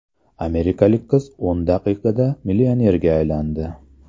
Amerikalik qiz o‘n daqiqaga millionerga aylandi.